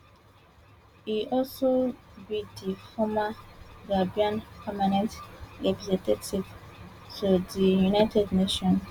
e also be di former gambian permanent representative to di united nations